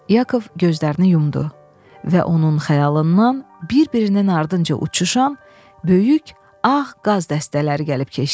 Yakov gözlərini yumdu və onun xəyalından bir-birinin ardınca uçuşan böyük ağ qaz dəstələri gəlib keçdi.